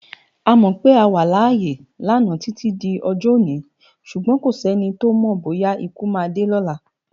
A mò pé á wá lááyé lana titi d òjò-óni súgbòn kósèni tó mò bóyá ikú má dé lòlá